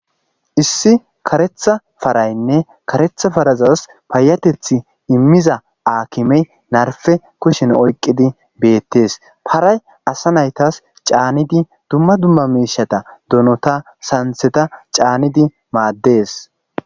issi karetha paraynne karetha parazas paayatethi immiza aakimey narfe kushin oyqqidi beettees paray asa naytas caanidi dumma dumma mishata donota santheta caanidi maaddees